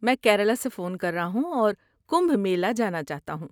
میں کیرالہ سے فون کر رہا ہوں اور کمبھ میلہ جانا چاہتا ہوں۔